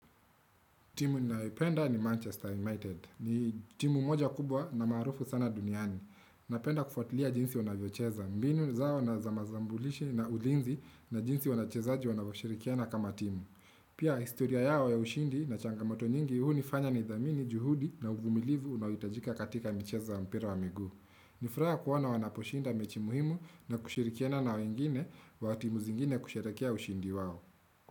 Timu ninyoipenda ni Manchester United. Ni timu moja kubwa na maarufu sana duniani. Napenda kufatulia jinsi wanavyocheza. Mbinu zao na zamazambulishi na ulinzi na jinsi wanachezaji wanavoshirikiana kama timu. Pia historia yao ya ushindi na changamoto nyingi hunifanya ni dhamini juhudi na uvumilivu unawitajika katika micheza mpira wa migu. Nifuraha kuwana wanaposhinda mechi muhimu na kushirikiana na wengine wa timu zingine kusherekia ushindi wao.